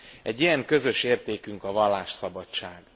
Egy ilyen közös értékünk a vallásszabadság.